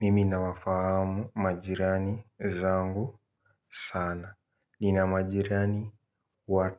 Mimina wafahamu majirani zangu sana. Ninamajirani wa